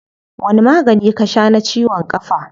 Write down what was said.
Wani magani ka shaa na ciwon kafa?